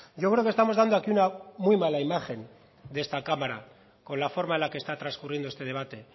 yo creo que estamos dando aquí una muy mala imagen de esta cámara con la forma de la que está transcurriendo este debate